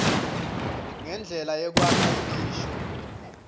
nendlela yekwakha imisho